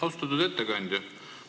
Austatud ettekandja!